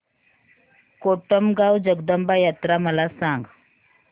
कोटमगाव जगदंबा यात्रा मला सांग